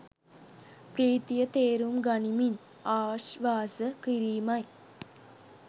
ප්‍රීතිය තේරුම් ගනිමින් ආශ්වාස කිරීමයි